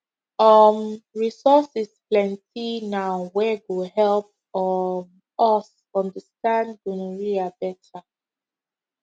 um resources plenty now wey go help um us understand gonorrhea better